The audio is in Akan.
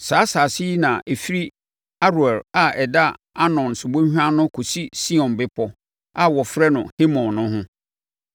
Saa asase yi na ɛfiri Aroer a ɛda Arnon subɔnhwa ano kɔsi Sion bepɔ, a wɔfrɛ no Hermon no ho.